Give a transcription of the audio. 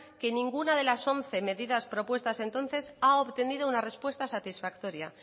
que ninguna de las once medidas propuestas entonces ha obtenido una respuesta satisfactoria